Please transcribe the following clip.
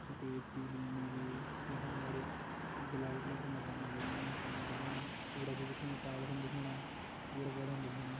सफेद पीली नीली यखम अगाडि गुलाबी कलर कु मकान दिख्येणु सूरज दिख्येणु टॉवर न दिख्येणा पेड़-पौधान दिख्येणा।